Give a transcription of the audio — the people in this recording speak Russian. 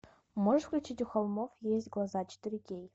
можешь включить у холмов есть глаза четыре кей